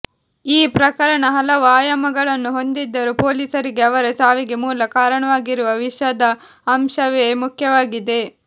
ಈ ಪ್ರಕರಣ ಹಲವು ಆಯಾಮಗಳನ್ನು ಹೊಂದಿದ್ದರೂ ಪೊಲೀಸರಿಗೆ ಅವರ ಸಾವಿಗೆ ಮೂಲ ಕಾರಣವಾಗಿರುವ ವಿಷದ ಅಂಶವೇ ಮುಖ್ಯವಾಗಿದೆ